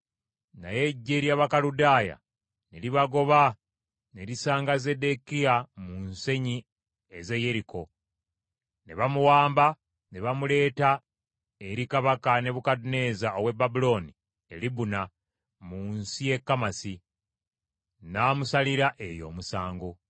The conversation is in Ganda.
Naye eggye ly’Abakaludaaya ne libagoba ne lisanga Zeddekiya mu nsenyi ez’e Yeriko, ne bamuwamba, ne bamuleeta eri kabaka Nebukadduneeza ow’e Babulooni e Libuna mu nsi y’e Kamasi; n’amusalira eyo omusango.